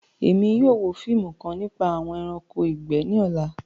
Ẹ̀mi yóò wò fíìmù kan nípa awọn ẹ̀ránkò igbẹ̀ ní òlà